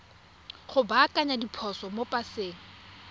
go baakanya diphoso mo paseng